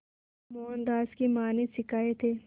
जो मोहनदास की मां ने सिखाए थे